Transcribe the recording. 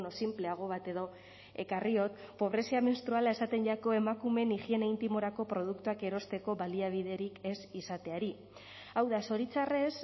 sinpleago bat edo ekarriot pobrezia menstruala esaten jako emakumeen higiene intimorako produktuak erosteko baliabiderik ez izateari hau da zoritxarrez